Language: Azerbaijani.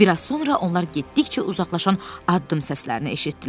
Bir az sonra onlar getdikcə uzaqlaşan addım səslərini eşitdilər.